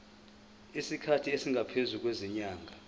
isikhathi esingaphezulu kwezinyanga